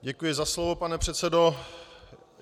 Děkuji za slovo, pane předsedo.